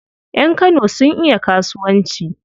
Yan Kano sun iya kasuwanci.